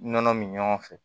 Nɔnɔ min ɲɔgɔn fɛ